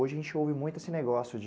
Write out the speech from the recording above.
Hoje a gente ouve muito esse negócio de...